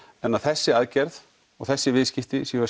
en að þessi aðgerð og þessi viðskipti séu